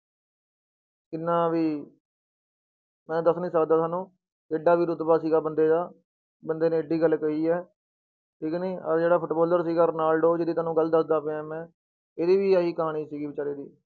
ਕਿੰਨਾ ਵੀ ਮੈਂ ਦੱਸ ਨੀ ਸਕਦਾ ਤੁਹਾਨੂੰ ਜਿੱਡਾ ਵੀ ਰੁਤਬਾ ਸੀਗਾ ਬੰਦੇ ਦਾ, ਬੰਦੇ ਨੇ ਇੱਡੀ ਗੱਲ ਕਹੀ ਹੈ ਠੀਕ ਨਹੀਂ, ਆਹ ਜਿਹੜਾ ਫੁਟਬਾਲਰ ਸੀਗਾ ਰੋਨਾਲਡੋ ਜਿਹਦੀ ਤੁਹਾਨੂੰ ਗੱਲ ਦੱਸਦਾ ਪਿਆ ਮੈਂ, ਇਹਦੀ ਵੀ ਆਹੀ ਕਹਾਣੀ ਸੀਗੀ ਬੇਚਾਰੇ ਦੀ।